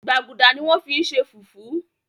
gbágudá ní wón fí ṣe fufu.